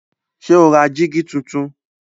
Ṣé o ra jígí tuntun?